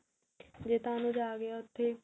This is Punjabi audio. ਜੇ ਤਾਂ ਅਨੁਜ ਆ ਗਿਆ ਉੱਥੇ